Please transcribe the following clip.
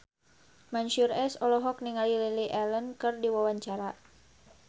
Mansyur S olohok ningali Lily Allen keur diwawancara